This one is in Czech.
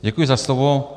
Děkuji za slovo.